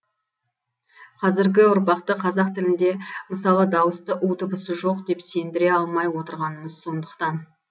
қазіргі ұрпақты қазақ тілінде мысалы дауысты у дыбысы жоқ деп сендіре алмай отырғанымыз сондықтан